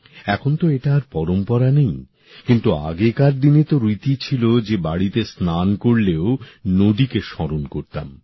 এখন তো এটা আর পরম্পরা নেই কিন্তু আগেকার দিনে তো রীতি ছিল যে বাড়িতে স্নান করলেও নদীকে স্মরণ করতাম